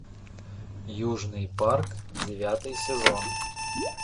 южный парк девятый сезон